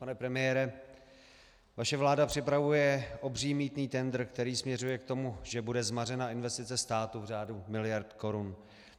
Pan premiére, vaše vláda připravuje obří mýtný tendr, který směřuje k tomu, že bude zmařena investice státu v řádu miliard korun.